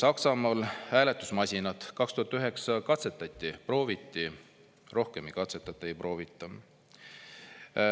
Saksamaal hääletusmasinat 2009 katsetati, prooviti, rohkem ei katsetata, ei proovita.